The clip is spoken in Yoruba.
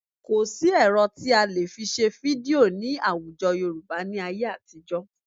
Kò sí ẹ̀rọ tí a lè fi ṣe fídíò ní àwùjọ Yorùbá ní ayé àtijọ́